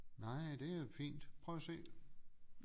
Nej det er fint prøv at se